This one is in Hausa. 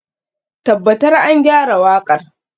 Tabbatar an gyara waƙar.